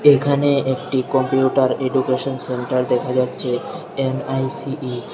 এখানে একটি computer education centre দেখা যাচ্ছে এন_আই_সি_ই ।